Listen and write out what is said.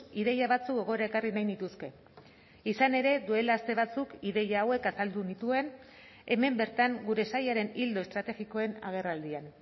ideia batzuk gogora ekarri nahi nituzke izan ere duela aste batzuk ideia hauek azaldu nituen hemen bertan gure sailaren ildo estrategikoen agerraldian